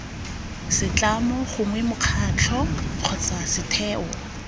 setlamo gongwe mokgatlho kgotsa setheo